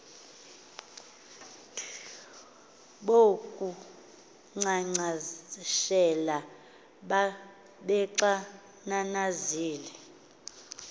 bo kunkcenkceshela babexananazile